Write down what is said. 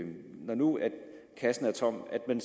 når nu kassen er tom at man